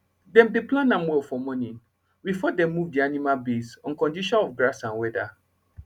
dem dey plan am well for morning before dem move d animal base on condition of grass and weather